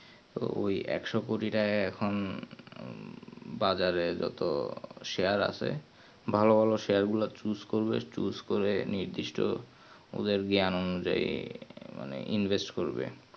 তো ওই একশো কোটি টাকা এখুন বাজারে যত share আছে ভালো ভালো share গুলো choose করলে share করে নিয়ে নির্দিষ্ট ওদের জ্ঞান অনুযায়ী মানে invest করবে